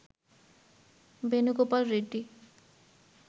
Venugopal Reddy